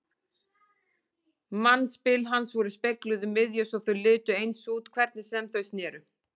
Mannspil hans voru spegluð um miðju svo þau litu eins út hvernig sem þau sneru.